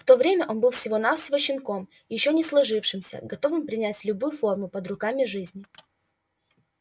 в то время он был всего навсего щенком ещё не сложившимся готовым принять любую форму под руками жизни